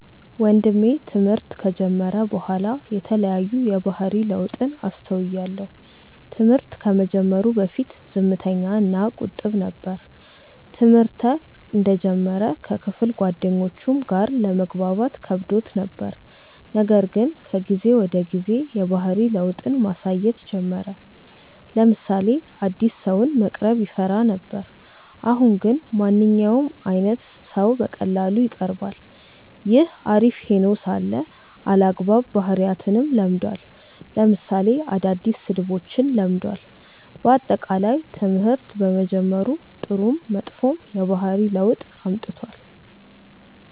ወንድሜ ትምህርት ከጀመረ በኋላ የተለያዩ የባህሪ ለውጥን አስተውያለው። ትምህርት ከመጀመሩ በፊት ዝምተኛ እና ቁጥብ ነበር። ትምህርተ እንደጀመረ ከክፍል ጓደኞቹም ጋር ለመግባባት ከብዶት ነበር :ነገር ግን ከጊዜ ወደ ጊዜ የባህሪ ለውጥን ማሳየት ጀመረ : ለምሳሌ አዲስ ሰውን መቅረብ ይፈራ ነበር አሁን ግን ማንኛውም አይነት ሰው በቀላሉ ይቀርባል። ይህ አሪፍ ሄኖ ሳለ አልአግባብ ባህሪያትንም ለምዷል ለምሳሌ አዳዲስ ስድቦችን ለምዷል። በአጠቃላይ ትምህርት በመጀመሩ ጥሩም መጥፎም የባህሪ ለውጥ አምጥቷል።